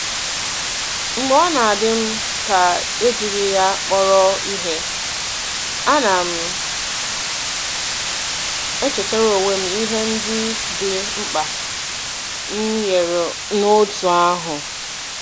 Mgbe ọ na-adị m ka ejighị ya kpọrọ ihe, ana m echetara onwe m ihe ndị dị mkpa m nyere n’òtù ahụ.